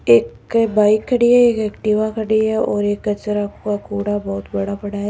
एक बाइक खड़ी है एक एक्टिवा खड़ी है और एक कचरा का कूड़ा बहुत बड़ा पड़ा है।